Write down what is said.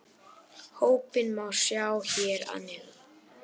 Hópinn má sjá hér að neðan